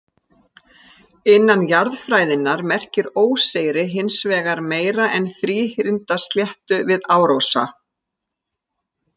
Innan jarðfræðinnar merkir óseyri hins vegar meira en þríhyrnda sléttu við árósa.